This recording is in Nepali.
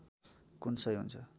कुन सही हुन्छ